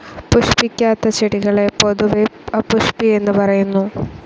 പുഷ്പിക്കാത്ത ചെടികളെ പൊതുവെ അപുഷ്പി എന്ന് പറയുന്നു.